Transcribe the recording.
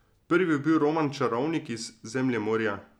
Prvi je bil roman Čarovnik iz Zemljemorja.